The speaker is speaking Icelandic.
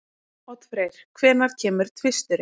Oddfreyr, hvenær kemur tvisturinn?